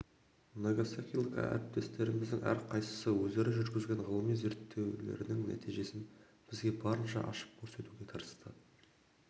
нагасакилік әріптестеріміздің әрқайсысы өздері жүргізген ғылыми зерттеулерінің нәтижесін бізге барынша ашып көрсетуге тырысты